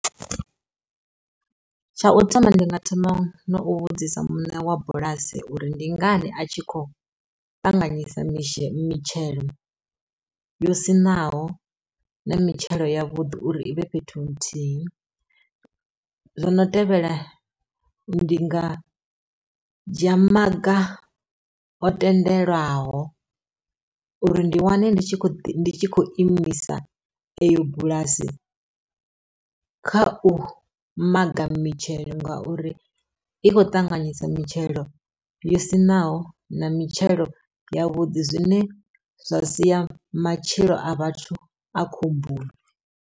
Tsha u thoma ndi nga thoma no u vhudzisa muṋe wa bulasi uri ndi ngani a tshi khou ṱanganyisa mishi mitshelo, yo siṋaho na mitshelo ya vhuḓi uri ivhe fhethu nthihi. Zwono tevhela ndi nga dzhia maga o tendelwaho uri ndi wane ndi tshi khou imisa eyo bulasi kha u maga mitshelo ngauri i khou ṱanganyisa mitshelo yo siṋaho na mitshelo ya vhuḓi zwine zwa sia matshilo a vhathu a khomboni.